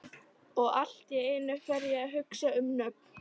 Og allt í einu fer ég að hugsa um nöfn.